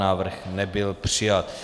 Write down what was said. Návrh nebyl přijat.